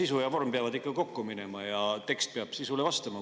Sisu ja vorm peavad ikka kokku minema ja tekst peab sisule vastama.